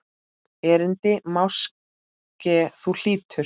Erindi máske þú hlýtur.